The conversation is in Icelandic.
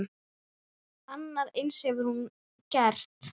Annað eins hefur hún gert.